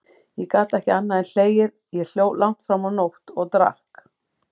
Ég gat ekki annað en hlegið, ég hló langt fram á nótt, og drakk.